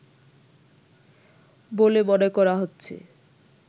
বলে মনে করা হচ্ছে